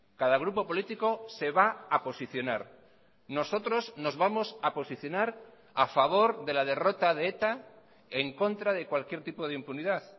cada grupo político se va a posicionar nosotros nos vamos a posicionar a favor de la derrota de eta en contra de cualquier tipo de impunidad